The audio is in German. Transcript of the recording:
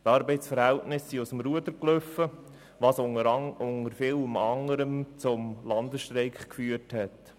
Die Arbeitsverhältnisse liefen aus dem Ruder, was unter anderem zum Landesstreik geführt hatte.